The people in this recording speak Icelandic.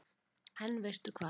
En veistu hvað